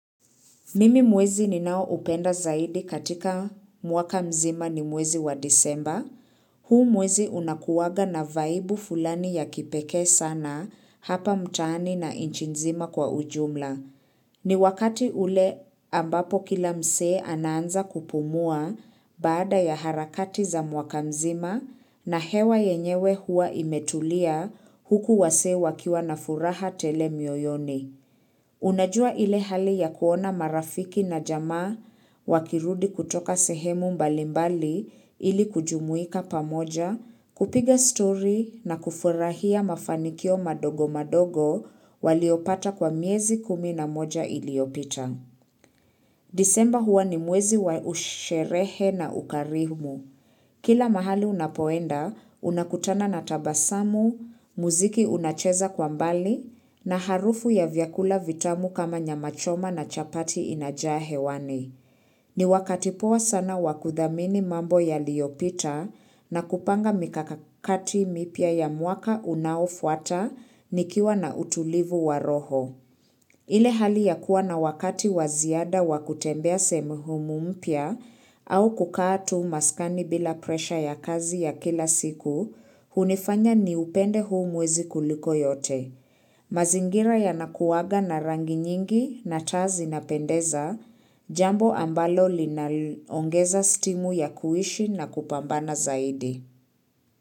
Mimi mwezi ninaoupenda zaidi katika mwaka mzima ni mwezi wa Disemba. Huu mwezi unakuwaga na vaibu fulani ya kipeke sana hapa mtaani na nchi nzima kwa ujumla. Ni wakati ule ambapo kila mse anaanza kupumua baada ya harakati za mwaka mzima na hewa yenyewe huwa imetulia huku wasee wakiwa na furaha tele mioyoni. Unajua ile hali ya kuona marafiki na jamaa wakirudi kutoka sehemu mbalimbali ili kujumuika pamoja, kupiga story na kufurahia mafanikio madogo madogo waliopata kwa miezi kumi na moja iliopita. Disemba huwa ni mwezi wa usherehe na ukarihumu. Kila mahali unapoenda, unakutana na tabasamu, muziki unacheza kwa mbali, na harufu ya vyakula vitamu kama nyamachoma na chapati inajahewani. Ni wakati poa sana wakudhamini mambo yaliyopita na kupanga mikakati mipia ya mwaka unaofuata nikiwa na utulivu wa roho. Ile hali ya kuwa na wakati waziada wa kutembea sehemu humu mpya au kukatu maskani bila presha ya kazi ya kila siku, hunifanya ni upende huu mwezi kuliko yote. Mazingira ya nakuwaga na rangi nyingi na taa zinapendeza, jambo ambalo linaongeza stimu ya kuishi na kupambana zaidi.